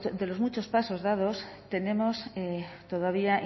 de los muchos pasos dados tenemos todavía